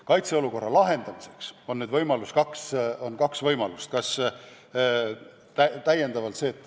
Kaitseolukorra lahendamiseks on kaks võimalust.